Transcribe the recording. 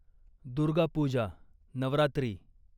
Durga Puja, Navratri